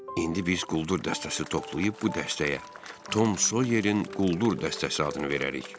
İndi biz quldur dəstəsi toplayıb bu dəstəyə Tom Soyerin quldur dəstəsi adını verərik.